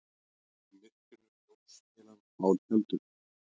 Í myrkrinu ljóskeilan á tjaldinu.